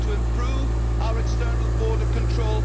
We have to improve our external border control.